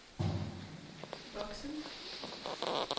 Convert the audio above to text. voksende